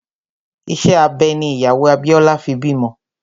Ìṣe abẹ ní ìyàwó Abíọ́lá fi bímọ